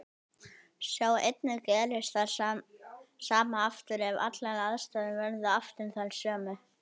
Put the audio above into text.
Sjá einnig Gerist það sama aftur ef allar aðstæður verða aftur þær sömu?